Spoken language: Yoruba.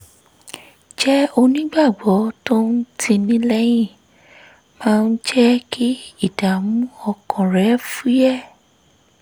jẹ́ onígbàgbọ́ tó ń tini lẹ́yìn máa ń jẹ́ kí ìdààmú ọkàn rẹ̀ fúyẹ́